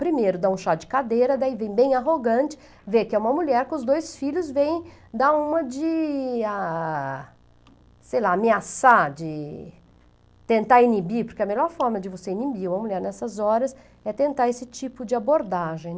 Primeiro dá um chá de cadeira, daí vem bem arrogante, vê que é uma mulher com os dois filhos, vem dar uma de, ah, sei lá, ameaçar, de tentar inibir, porque a melhor forma de você inibir uma mulher nessas horas é tentar esse tipo de abordagem.